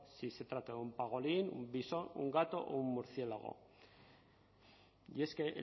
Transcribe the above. si se trata de un pangolín un visón un gato o un murciélago y es que en